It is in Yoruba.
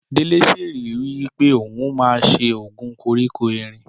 Délé ṣèlérí wípé ohun ma ṣe oògùn koríko erin